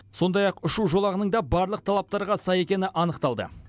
сондай ақ ұшу жолағының да барлық талаптарға сай екені анықталды